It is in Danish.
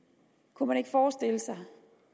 kunne man ikke forestille sig